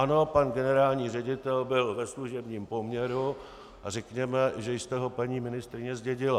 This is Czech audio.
Ano, pan generální ředitel byl ve služebním poměru a řekněme, že jste ho, paní ministryně, zdědila.